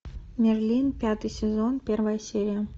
мерлин пятый сезон первая серия